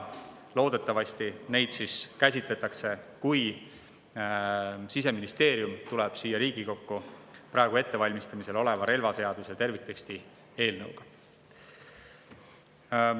Loodetavasti käsitletakse neid siis, kui Siseministeerium tuleb siia Riigikokku praegu ettevalmistatava relvaseaduse terviktekstiga.